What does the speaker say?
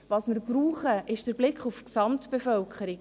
Was wir brauchen, ist der Blick auf die Gesamtbevölkerung.